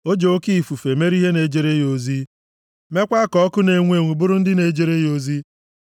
O ji oke ifufe mere ihe na-ejere ya ozi, meekwa ka ọkụ na-enwu enwu bụrụ ndị na-ejere ya ozi.